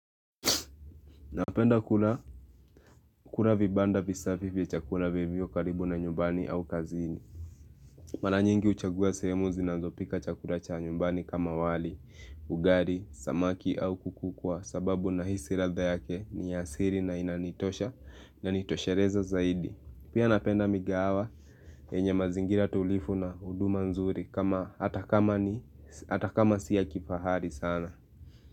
Napenda kula kula vibanda visafi vya chakula vilivyo karibu na nyumbani au kazini. Mara nyingi uchagua sehemu zinazopika chakura cha nyumbani kama wali, ugari, samaki au kuku kwa sababu na hisi ratha yake ni asiri na inanitosha na nitoshereza zaidi. Pia napenda migawa enye mazingira tulifu na huduma nzuri kama atakama siya kifahari sana.